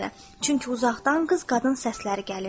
Çünki uzaqdan qız-qadın səsləri gəlirdi.